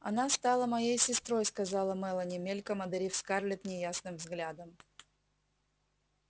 она стала моей сестрой сказала мелани мельком одарив скарлетт неясным взглядом